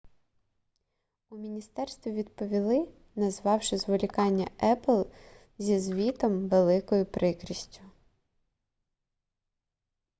у міністерстві відповіли назвавши зволікання apple зі звітом великою прикрістю